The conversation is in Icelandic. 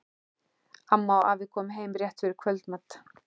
Amma og afi komu heim rétt fyrir kvöldmat.